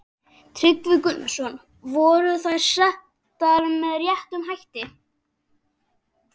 Tryggvi Gunnarsson: Voru þær settar með réttum hætti?